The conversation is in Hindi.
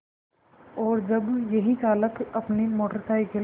और जब यही चालक अपनी मोटर साइकिल